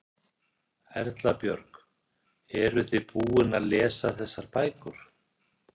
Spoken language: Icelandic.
Erla Björg: Eruð þið búin að lesa þessar bækur?